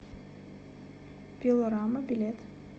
пилорама билет